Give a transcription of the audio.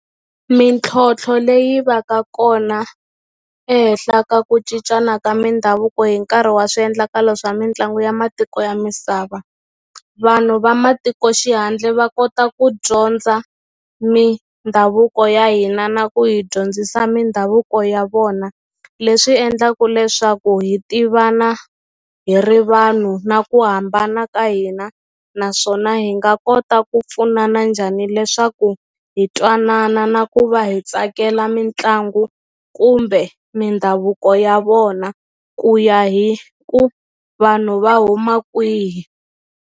Mintlhontlho leyi va ka kona ehenhla ka ku cincana ka mindhavuko hi nkarhi wa swiendlakalo swa mitlangu ya matiko ya misava vanhu vamatikoxihandle va kota ku dyondza mindhavuko ya hina na ku hi dyondzisa mindhavuko ya vona leswi endlaku leswaku hi tivana hi ri vanhu na ku hambana ka hina naswona hi nga kota ku pfunana njhani leswaku hi twanana na ku va hi tsakela mitlangu kumbe mindhavuko ya vona ku ya hi ku vanhu va huma kwihi.